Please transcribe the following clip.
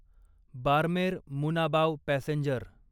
Barmer Munabao passenger